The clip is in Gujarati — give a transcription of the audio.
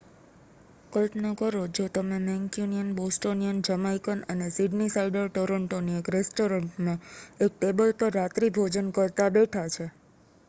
કલ્પના કરો જો તમે મેંક્યુનિયન બોસ્ટોનિયન જમાઇકન અને સિડનીસાઇડર ટોરંટોની એક રેસ્ટોરન્ટમાં એક ટેબલ પર રાત્રિભોજન કરતા બેઠાં છે